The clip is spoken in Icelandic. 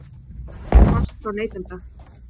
Kvörtun barst frá neytanda